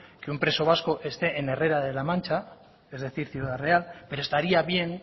que un preso vasco esté en herrera de la mancha es decir ciudad real pero estaría bien